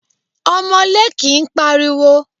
Ọmọlé kìí pariwo.